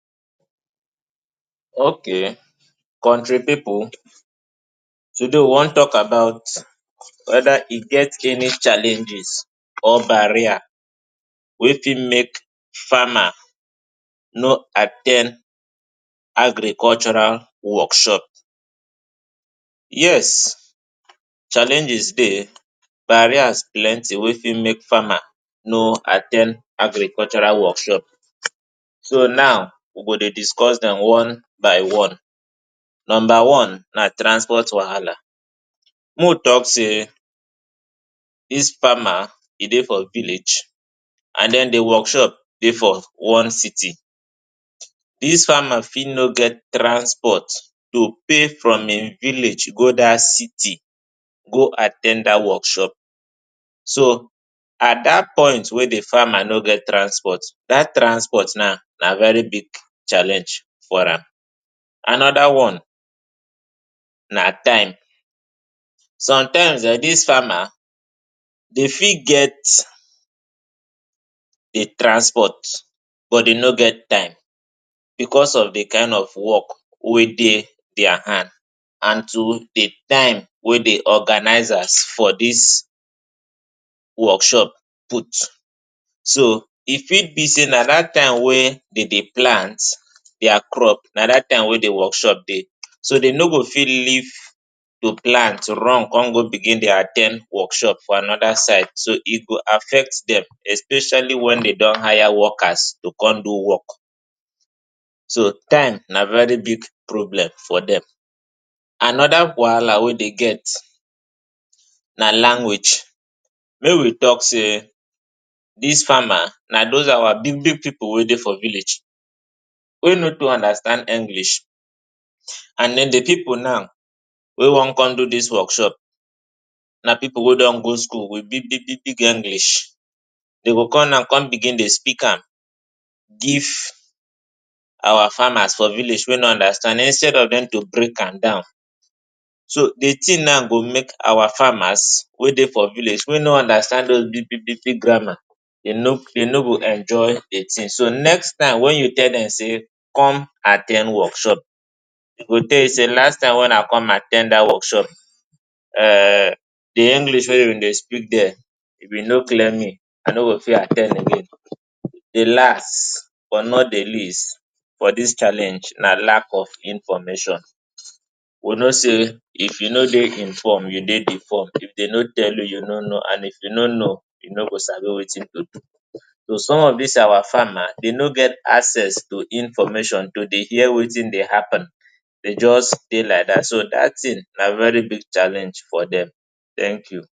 Okay Kontri pipu today we wan tok about weda e get any challenges or barrier wey fit make farmer no at ten d agricultural workshop Yes challenges dey barriers plenty wey fit make farmer no at ten d agricultural workshop so now we go dey discuss dem one by one Number one na transport wahala Mo tok say dis farmer e dey for village and den di workshop dey for one city Dis farmer fit no get transport to pay from im village go dat city go at ten d dat workshop So at dat point wey di farmer no get transport dat transport now na very big challenge for am Anoda one na time Somtime dis farmer dey fit get transport but e no get time bicos of di kain of wok wey dey dia hand and to di time wey dey organizers for dis workshop put So e fit be say na dat time wey dem dey plant dia crop na dat time wey di workshop dey So dem no go fit leave to plant run come go begin dey at ten d workshop for anoda side So e go affect dem especially wen dem don hire wokas to come do wok So time na very big problem for dem Anoda wahala wey dey be language Make we tok say dis farmer na dos our big big pipu wey dey for village wey no too understand English And den di pipu now wey wan come do dis workshop na pipu wey don go school wit big big big English Dem go come na come begin dey speak am give our farmers for village wey no understand instead of dem to break am down So di tin now go make our farmers wey dey for village wey no understand dos big big big grammar dem no go enjoy di tin So next time wen you tell dem say come at ten d workshop e go tell you say last time wey una come at ten d dat workshop[um]di English wey you dey speak dia you been no clear me I no go fit at ten d again Di last but not di least for dis challenge na lack of information We know say if you no dey inform you dey deform If dem no tell you you no know and if you no know you no go sabi wetin to do So some of dis our farmer dey no get access to information to dey hear wetin dey happun Dem just dey like dat So dat tin na very big challenge for dem